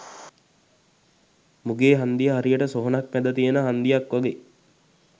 මුගේ හංදිය හරියට සොහොනක් මැද තියෙන හංදියක් වගේ.